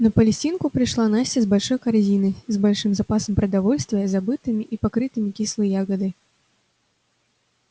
на палестинку пришла настя с большой корзиной с большим запасом продовольствия забытыми и покрытыми кислой ягодой